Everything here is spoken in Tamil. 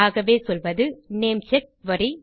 ஆகவே சொல்வது நேம்செக் குரி